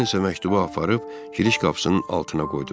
Mən isə məktubu aparıb giriş qapısının altına qoydum.